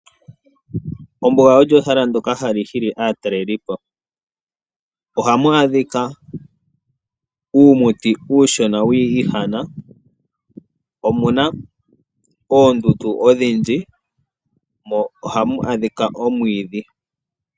Ombuga olyo ehala ndjoka hali hili aatalelipo ohamu adhika uumuti uushona wii ihana omuna oondundu odhindji mo ohamu adhika omwiidhi.